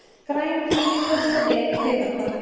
Græn, hvít, svört og bleik piparkorn.